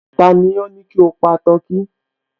Tani ó ní kí o pa tọkí?